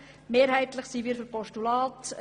Deshalb sind wir mehrheitlich für ein Postulat.